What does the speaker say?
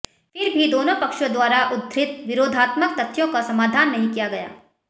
फिर भी दोनों पक्षों द्वारा उद्धृत विरोधात्मक तथ्यों का समाधान नहीं किया गया